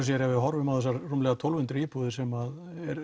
sér ef við horfum á þessar rúmlega tólf hundruð íbúðir sem